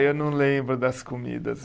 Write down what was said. Eu não lembro das comidas.